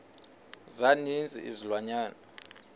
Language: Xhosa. za ninzi izilwanyana